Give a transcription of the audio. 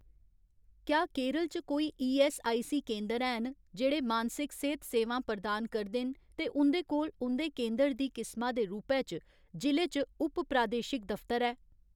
क्या केरल च कोई ईऐस्सआईसी केंदर हैन जेह्ड़े मानसिक सेह्त सेवां प्रदान करदे न ते उं'दे कोल उं'दे केंदर दी किसमा दे रूपै च जि'ले च उप प्रादेशिक दफ्तर है ?